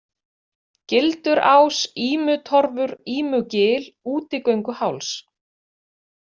Gildurás, Ímutorfur, Ímugil, Útigönguháls